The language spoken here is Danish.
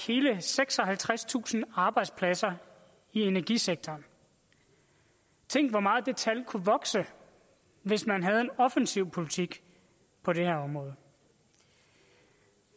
hele seksoghalvtredstusind arbejdspladser i energisektoren tænk hvor meget det tal kunne vokse hvis man havde en offensiv politik på det her område